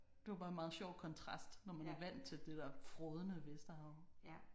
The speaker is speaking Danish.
Det var bare meget sjov kontrast når man er vant til det der frådende Vesterhav